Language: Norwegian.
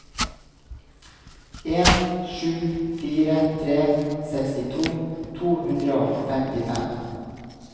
en sju fire tre sekstito to hundre og femtifem